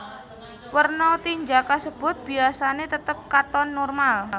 Werna tinja kasebut biyasane tetep katon normal